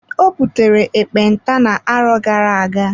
Ọ butere ekpenta na-arọ gara-aga.